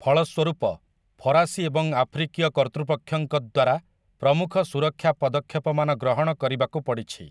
ଫଳସ୍ୱରୂପ, ଫରାସୀ ଏବଂ ଆଫ୍ରିକୀୟ କର୍ତ୍ତୃପକ୍ଷଙ୍କ ଦ୍ୱାରା ପ୍ରମୁଖ ସୁରକ୍ଷା ପଦକ୍ଷେପମାନ ଗ୍ରହଣ କରିବାକୁ ପଡ଼ିଛି ।